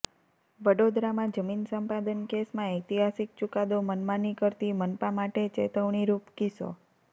વડોદરામાં જમીન સંપાદન કેસમાં ઐતિહાસિક ચુકાદો મનમાની કરતી મનપા માટે ચેતવણીરૂપ કિસ્સો